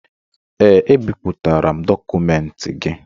Ee, ebipụtara m dọkụmentị gị